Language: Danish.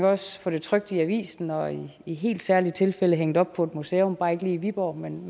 også få det trykt i avisen og i helt særlige tilfælde hængt op på et museum bare ikke lige i viborg men